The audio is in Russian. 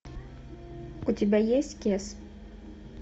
у тебя есть кес